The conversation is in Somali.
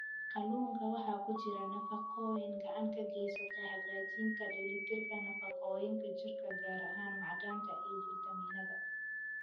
Kalluunka waxaa ku jira nafaqooyin gacan ka geysta hagaajinta dheellitirka nafaqooyinka jirka, gaar ahaan macdanta iyo fiitamiinnada.